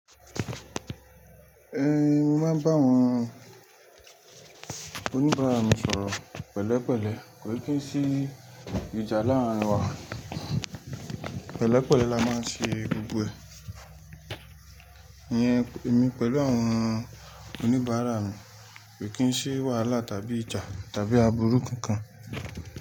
Ẹn, mo máa ń bá àwọn oníbàárà mi sọ̀rọ̀ pẹ̀lẹ́pẹ̀lẹ́, kò kí n sí ìjà láàárín wa. Pẹ̀lẹ́pẹ̀lẹ́ la máa ń ṣe gbogbo ẹ̀. Ìyẹn èmi pẹ̀lú àwọn oníbàárà mi, kò kí n sí wàhálà tàbí ìjà tàbí àbúrú kankan.